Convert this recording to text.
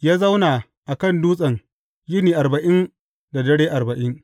Ya zauna a kan dutsen yini arba’in da dare arba’in.